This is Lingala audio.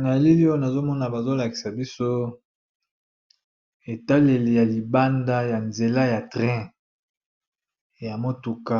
Na elili oyo nazo mona bazo lakisa biso etaleli ya libanda ya nzela ya train, ya motuka